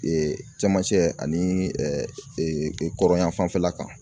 cɛmancɛ ani kɔrɔn yan fanfɛla kan.